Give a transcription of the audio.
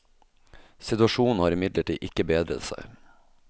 Situasjonen har imidlertid ikke bedret seg.